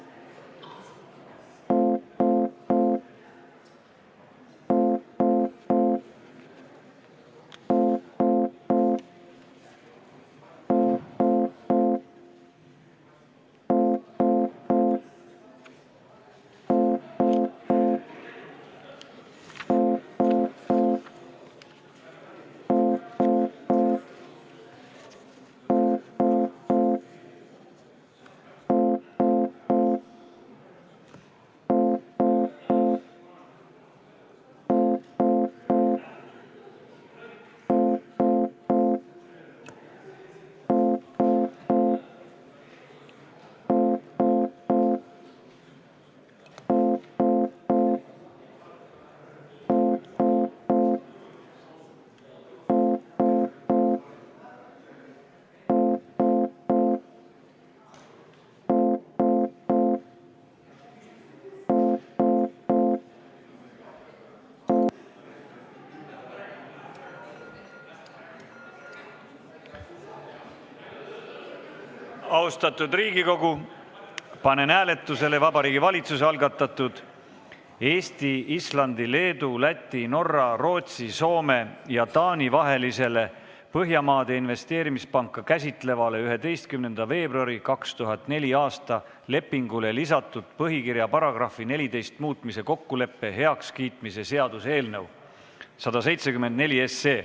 Austatud Riigikogu, panen hääletusele Vabariigi Valitsuse algatatud Eesti, Islandi, Leedu, Läti, Norra, Rootsi, Soome ja Taani vahelisele Põhjamaade Investeerimispanka käsitlevale 11. veebruari 2004. aasta lepingule lisatud põhikirja paragrahvi 14 muutmise kokkuleppe heakskiitmise seaduse eelnõu.